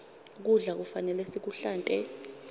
kudla kufanele sikuhlante